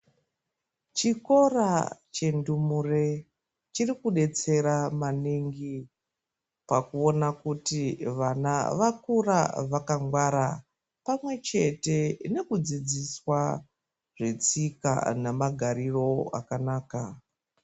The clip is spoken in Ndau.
Chikora chendumure chiri kudetsera maningi pakuona kuti vana vakura vakangwara pamwe chete nekudzidziswa zvetsika namagariro akanaka.